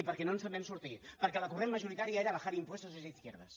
què no ens en vam sortir perquè el corrent majoritari era bajar impuestos es de izquierdas